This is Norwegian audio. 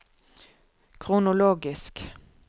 kronologisk